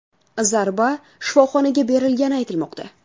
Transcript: Zarba shifoxonaga berilgani aytilmoqda.